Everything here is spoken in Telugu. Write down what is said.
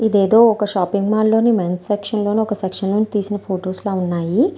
ఇది ఐతే ఒక షాపింగ్ మాల్ లోని మేన్స్ సెక్షన్ లోని ఒక సెక్షన్ లో తీసిన ఫొటోస్ ల ఉన్నాయి.